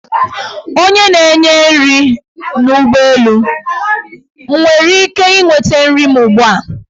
Onye na-enye nri n; ụgbọelu, m nwere ike inweta nri m ugbua?